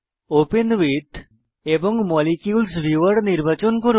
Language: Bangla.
ওপেন উইথ এবং মলিকিউলস ভিউয়ার বিকল্পটি নির্বাচন করুন